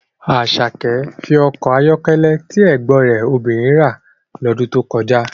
Asake fi ọkọ̀ ayọ́kẹ́lẹ́ tí ẹ̀gbọ́n rẹ̀ obìnrin rà lọ́dún tó kọjá